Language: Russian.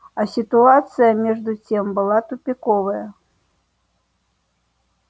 а ситуация между тем была тупиковая